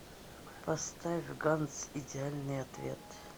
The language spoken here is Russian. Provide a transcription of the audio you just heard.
поставь ганс идеальный ответ